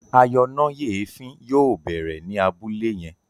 ayọnáyèéfín yóò bẹrẹ ní Abúlé yén